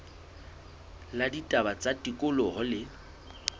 la ditaba tsa tikoloho le